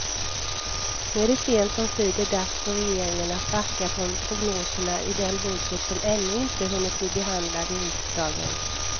Nu är det sent omsider dags för regeringen att backa från prognoserna i den budget som ännu inte hunnit bli behandlad i riksdagen.